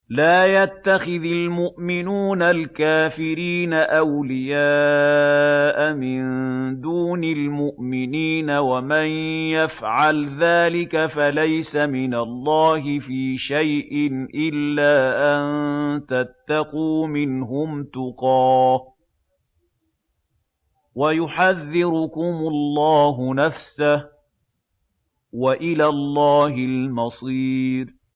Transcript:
لَّا يَتَّخِذِ الْمُؤْمِنُونَ الْكَافِرِينَ أَوْلِيَاءَ مِن دُونِ الْمُؤْمِنِينَ ۖ وَمَن يَفْعَلْ ذَٰلِكَ فَلَيْسَ مِنَ اللَّهِ فِي شَيْءٍ إِلَّا أَن تَتَّقُوا مِنْهُمْ تُقَاةً ۗ وَيُحَذِّرُكُمُ اللَّهُ نَفْسَهُ ۗ وَإِلَى اللَّهِ الْمَصِيرُ